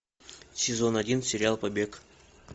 сезон один сериал побег